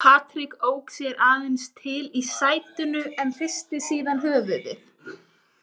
Patrik ók sér aðeins til í sætinu en hristi síðan höfuðið.